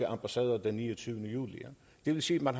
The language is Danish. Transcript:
ambassader den niogtyvende juli det vil sige at man